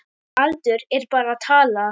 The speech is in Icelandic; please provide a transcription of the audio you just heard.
Aldur er bara tala.